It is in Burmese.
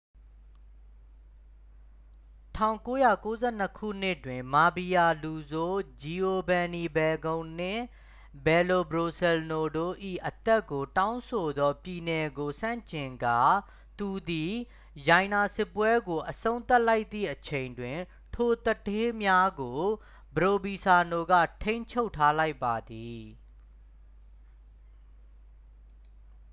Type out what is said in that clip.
1992 ခုနှစ်တွင် မာဖီးယားလူဆိုး ဂျီအိုဗန်နီဖယ်ကုန်းန် နှင့် ပယ်လိုဘရိုစဲလ်နို တို့၏အသက်ကိုတောင်းဆိုသောပြည်နယ်ကိုဆန့်ကျင်ကာ သူသည် ရိုင်နာစစ်ပွဲကိုအဆုံးသတ်လိုက်သည့်အချိန်တွင် ထိုသူဌေးများကို ပရိုဗီဇာနိုက ထိန်းချုပ်ထားလိုက်ပါသည်